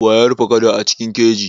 Waye ya rufe kada a cikin keji?